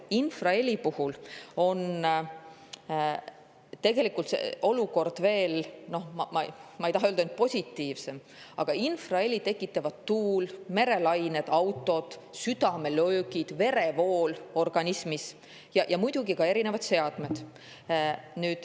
Infraheli puhul on tegelikult olukord veel, noh, ma ei taha öelda, et positiivsem, aga infraheli tekitab tuul, merelained, autod, südamelöögid, verevool organismis ja muidugi ka erinevad seadmed.